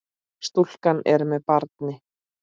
Stúlkan er með barni.